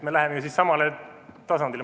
Me läheme siis ju samale tasandile.